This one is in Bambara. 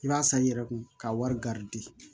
I b'a san i yɛrɛ kun ka wari